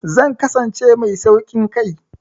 Zan kasance mai sauƙin kai.